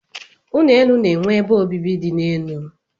Ụlọ elu na-enwe ebe obibi dị n'elu.